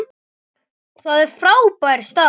Það er frábær staður.